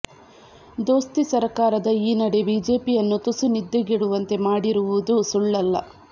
ದೋಸ್ತಿ ಸರ್ಕಾರದ ಈ ನಡೆ ಬಿಜೆಪಿಯನ್ನು ತುಸು ನಿದ್ದೆಗೆಡುವಂತೆ ಮಾಡಿರುವುದೂ ಸುಳ್ಳಲ್ಲ